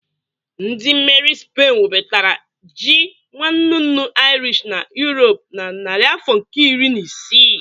Ndị mmeri Spen webatara ji nwannunu Irish na Europe na narị afọ nke iri na isii.